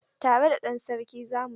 Tare da ɗan sarki za mu zo.